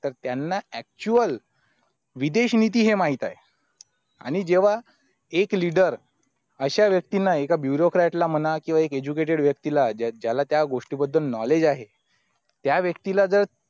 तर त्यांना actual विदेश नीती हे माहित आहे आणि जेव्हा एक लीडर अश्या व्यक्तींना एका bureaukright ला म्हणा किंवा एक educated व्यक्ती ला ज्या ज्याला त्या गोष्टी बद्दल knowledge आहे त्या व्यक्तीला जर